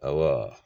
Ayiwa